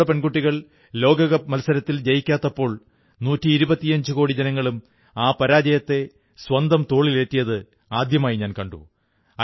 എന്നാൽ നമ്മുടെ പെൺകുട്ടികൾ ലോകകപ്പ് മത്സരത്തിൽ ജയിക്കാഞ്ഞപ്പോൾ നൂറ്റി ഇരുപത്തിയഞ്ചുകോടി ജനങ്ങളും ആ പരാജയത്തെ സ്വന്തം തോളിലേറ്റിയത് ആദ്യമായി കണ്ടു